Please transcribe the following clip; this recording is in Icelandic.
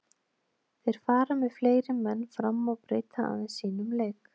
Þeir fara með fleiri menn fram og breyta aðeins sínum leik.